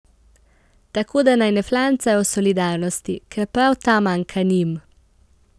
Tako da naj ne flancajo o solidarnosti, ker prav ta manjka njim.